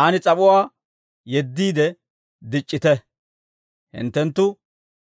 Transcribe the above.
Aan s'ap'uwaa yeddiide dic'c'ite; hinttenttu